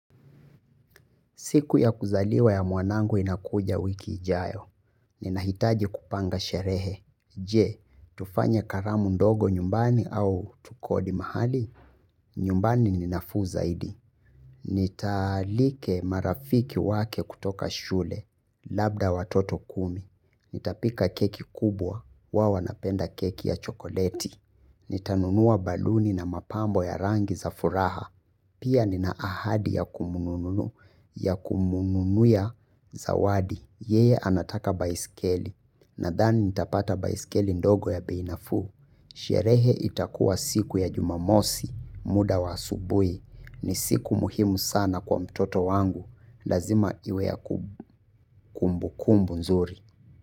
Siku ya kuzaliwa ya mwanangu inakuja wiki ijayo. Ninahitaji kupanga sherehe. Je, tufanye karamu ndogo nyumbani au tukodi mahali. Nyumbani ninafuu zaidi. Nitaalike marafiki wake kutoka shule. Labda watoto kumi. Nitapika keki kubwa. Wao wanapenda keki ya chokoleti. Nitanunua baluni na mapambo ya rangi za furaha. Pia nina ahadi ya kumununu ya zawadi, yeye anataka baisikeli, na dhani nitapata baisikeli ndogo ya beinafuu. Sherehe itakuwa siku ya jumamosi, muda wa asubuhi, ni siku muhimu sana kwa mtoto wangu, lazima iwe ya kumbu kumbu nzuri.